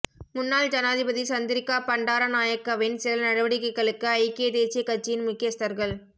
முன்னாள் ஜனாதிபதி சந்திரிக்கா பண்டாரநாயக்கவின் சில நடவடிக்கைகளுக்கு ஐக்கிய தேசியக் கட்சியின் முக்கியஸ்தர்கள்